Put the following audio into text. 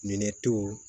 Minɛ to